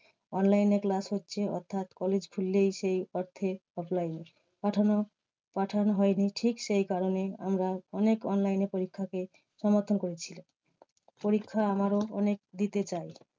Online এ class হচ্ছে অর্থাৎ college খুললেই সেই অর্থে offline এ। পাঠানো পাঠানো হয়নি ঠিক সেই কারণেই আমরা অনেক online এ পরীক্ষাকে সমর্থন করছিলো। পরীক্ষা আমারও অনেক দিতে চায়।